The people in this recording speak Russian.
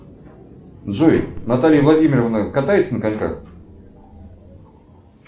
джой наталья владимировна катается на коньках